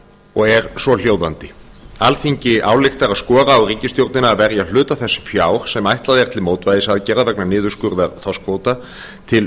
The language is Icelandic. og er svohljóðandi alþingi ályktar að skora á ríkisstjórnina að verja hluta þess fjár sem ætlað er til mótvægisaðgerða vegna niðurskurðar þorskkvóta til